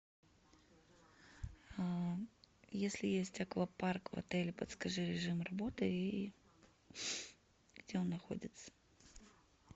если есть аквапарк в отеле подскажи режим работы и где он находится